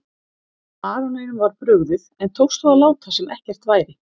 Baróninum var brugðið en tókst þó að láta sem ekkert væri.